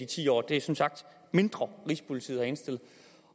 ti år det er som sagt mindre rigspolitiet har indstillet